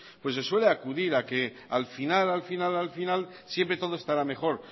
pues se suele acudir a que al final al final al final siempre todo estará mejor